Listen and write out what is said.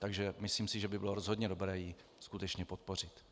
Takže myslím si, že by bylo rozhodně dobré ji skutečně podpořit.